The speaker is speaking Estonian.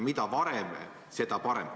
Mida varem, seda parem.